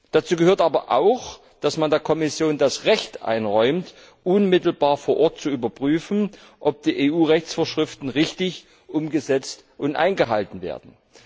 Dazu gehört aber auch, dass man der Kommission das Recht einräumt, unmittelbar vor Ort zu überprüfen, ob die EU Rechtsvorschriften richtig umgesetzt und eingehalten werden.